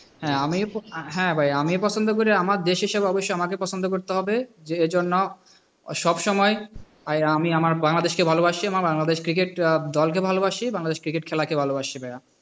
হ্যাঁ আমি হ্যাঁ ভাই আমি পছন্দ করি আমার দেশ হিসাবে অবশ্যই পছন্দ করি করতে হবে। যে জন্য সব সময় আমি আমার বাংলাদেশকে ভালবাসি, বাংলাদেশ cricket দলকে ভালবাসি, বাংলাদেশ cricket খেলা কে ভালোবাসি ভাইয়া।